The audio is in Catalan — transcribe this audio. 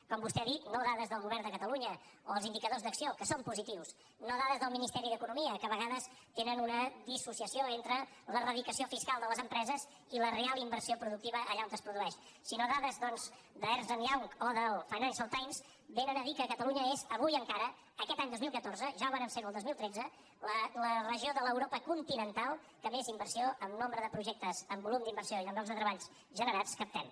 com vostè ha dit no dades del govern de catalunya o els indicadors d’acció que són positius no dades del ministeri d’economia que a vegades tenen una dissociació entre la radicació fiscal de les empreses i la real inversió productiva allà on es produeix sinó dades doncs d’ernst young o del financial times diuen que catalunya és avui encara aquest any dos mil catorze ja vam ser ho el dos mil tretze la regió de l’europa continental que més inversió en nombre de projectes en volum d’inversió i en llocs de treballs generats captem